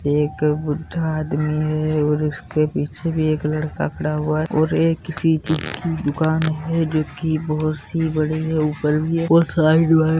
एक बुड्ढ़ा आदमी है और उसके पीछे भी एक लड़का खड़ा हुआ है और एक यह किसी चीज की दुकान है जोकि बहुत सी बड़ी है ऊपर भी है और साइड में --